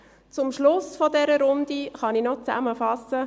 Am Schluss dieser Runde kann ich noch zusammenfassen: